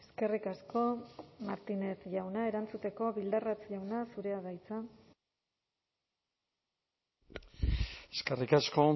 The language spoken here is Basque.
eskerrik asko martínez jauna erantzuteko bildarratz jauna zurea da hitza eskerrik asko